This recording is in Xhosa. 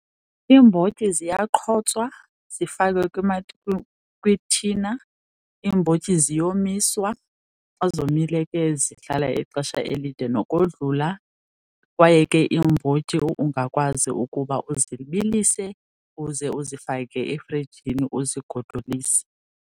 Iimbotyi ziyaqhotswa zifakwe kwithina. Iimbotyi ziyomiswa, xa zomile ke zihlala ixesha elide . Kwaye ke iimbotyi ungakwazi ukuba uzibilise, uze uzifake efrijini uzigodolise.